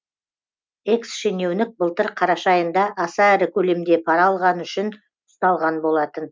экс шенеунік былтыр қараша айында аса ірі көлемде пара алғаны үшін ұсталған болатын